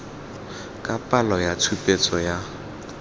ka palo ya tshupetso ya